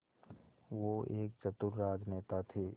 वो एक चतुर राजनेता थे